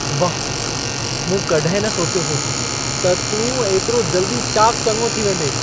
वाह! मूं कॾहिं न सोचियो हो त तूं ऐतिरो जल्दी चाकु चङो थी वेंदें।